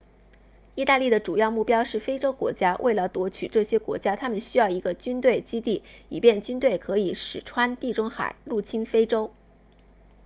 意大利的主要目标是非洲国家为了夺取这些国家他们需要一个军队基地以便军队可以驶穿地中海入侵非洲